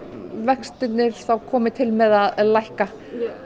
vextirnir þá komi til með að lækka